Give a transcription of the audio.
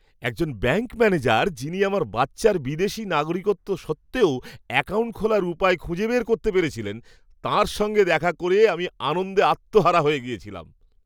একজন bank manager, যিনি আমার বাচ্চার বিদেশী নাগরিকত্ব সত্ত্বেও অ্যাকাউন্ট খোলার উপায় খুঁজে বের করতে পেরেছিলেন, তাঁর সঙ্গে দেখা করে আমি আনন্দে আত্মহারা হয়ে গিয়েছিলাম।